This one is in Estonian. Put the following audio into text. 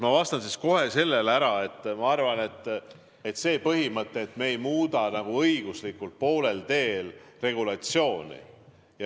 Ma vastan kohe ära, ma arvan, et on see põhimõte, et me ei muuda poolel teel õiguslikku regulatsiooni.